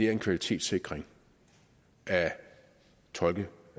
er en kvalitetssikring af tolke